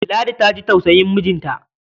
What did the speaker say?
Ladi ta ji tausayin mijinta.